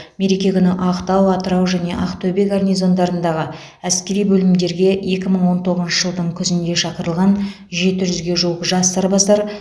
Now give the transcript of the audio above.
мереке күні ақтау атырау және ақтөбе гарнизондарындағы әскери бөлімдерге екі мың он тоғызыншы жылдың күзінде шақырылған жеті жүзге жуық жас сарбаздар